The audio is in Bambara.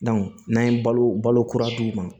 n'an ye balo balo kura d'u ma